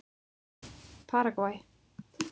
Paragvæ